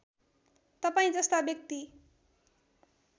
तपाईँ जस्ता व्यक्ति